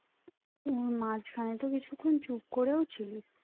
উম মাঝখানে তো কিছুক্ষন চুপ করেই ছিলি